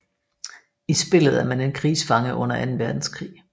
I spillet er man en krigsfange under anden verdenskrig